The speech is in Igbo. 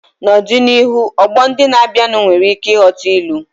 N'ọdịnihu, ọgbọ ndị na-abịanụ nwere ike ịghọta ilu.